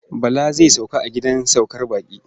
Bala zai sauka a gidan saukar baƙi.